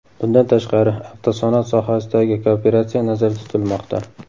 Bundan tashqari, avtosanoat sohasidagi kooperatsiya nazarda tutilmoqda.